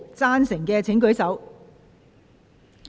贊成的請舉手。